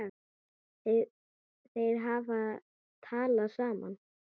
Þeir hafa talað saman.